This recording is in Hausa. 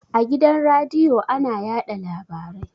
A gidan radiyo ana yaɗa labarai